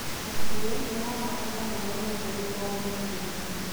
mahiũ marabatara maĩ matheru o mũthenya